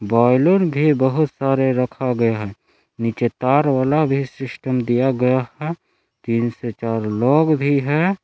बोइलन भी बहुत सारे रखा गया है। नीचे तार वाला भी सिस्टम दिया गया है। तीन से चार लोग भी है।